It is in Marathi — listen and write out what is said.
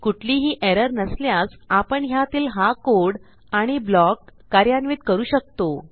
कुठलीही एरर नसल्यास आपण ह्यातील हा कोड आणि ब्लॉक कार्यान्वित करू शकतो